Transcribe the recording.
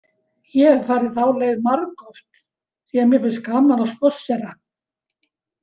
Ég hef farið þá leið margoft því að mér finnst gaman að spássera.